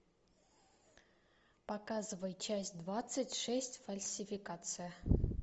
показывай часть двадцать шесть фальсификация